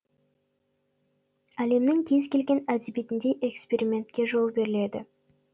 әлемнің кез келген әдебиетінде экспериментке жол беріледі